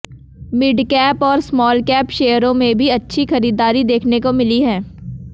midcap और smallcap शेयरों में भी अच्छी खरीदारी देखने को मिली है